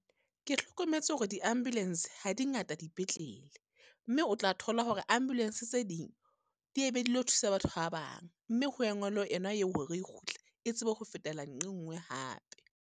Ke hlokometse hore diambulance ha di ngata dipetlele. Mme o tla thola hore ambulance tse ding, di e be dilo thusa batho ba bang. Mme ho engwelwe yona eo hore re kgutle, e tsebe ho fetela nqe nngwe hape.